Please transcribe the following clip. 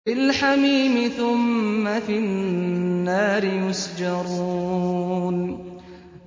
فِي الْحَمِيمِ ثُمَّ فِي النَّارِ يُسْجَرُونَ